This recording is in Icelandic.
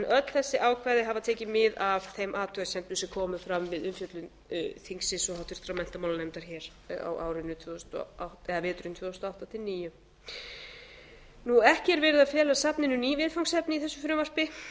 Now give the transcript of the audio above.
öll þessi ákvæði hafa tekið mið af þeim athugasemdum sem komu fram við umfjöllun þingsins og háttvirtur menntamálanefndar hér veturinn tvö þúsund og átta til tvö þúsund og níu ekki er verið að fela safninu ný viðfangsefni í þessu frumvarpi